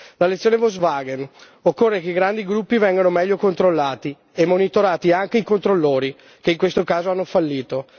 La lezione Volkswagen occorre che i grandi gruppi vengano meglio controllati e che vengano monitorati anche i controllori, che in questo caso hanno fallito.